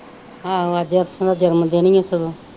ਆਹੋ ਅੱਜ ਅੰਸ਼ ਦਾ ਜਨਮ ਦਿਨ ਈ ਓ ਸਗੋਂ।